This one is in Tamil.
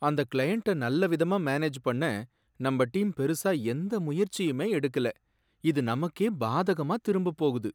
அந்த கிளையண்ட்ட நல்ல விதமா மேனேஜ் பண்ண நம்ம டீம் பெருசா எந்த முயற்சியுமே எடுக்கல, இது நமக்கே பாதகமா திரும்பப் போகுது.